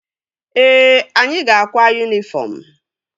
Ee, anyị ga-akwa yunifọm